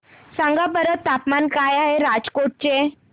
सांगा बरं तापमान काय आहे राजकोट चे